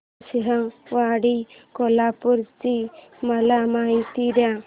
नृसिंहवाडी कोल्हापूर ची मला माहिती दे